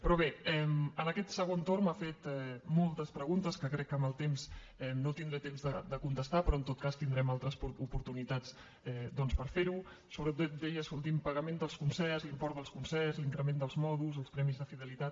però bé en aquest segon torn m’ha fet moltes preguntes que crec que no tindré temps de contestar però en tot cas tindrem altres oportunitats doncs per fer ho sobretot deia l’últim pagament dels concerts l’import dels concerts l’increment dels mòduls els premis de fidelitat